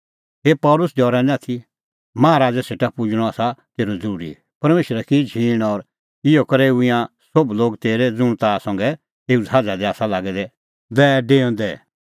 ए पल़सी डरै निं आथी माहा राज़ै सेटा पुजणअ आसा तेरअ ज़रूरी परमेशरै की झींण और इहअ करै हुऐ ईंयां सोभ लोग तेरै ज़ुंण ताह संघै एऊ ज़हाज़ा दी आसा लागै दै डैऊंदै